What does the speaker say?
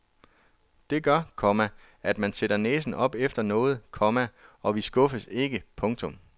Det gør, komma at man sætter næsen op efter noget, komma og vi skuffes ikke. punktum